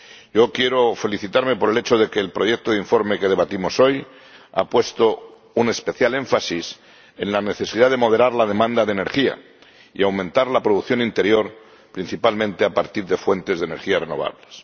Yo quiero felicitarme por el hecho de que el proyecto de informe que debatimos hoy ha puesto un especial énfasis en la necesidad de moderar la demanda de energía y aumentar la producción interior, principalmente a partir de fuentes de energía renovables.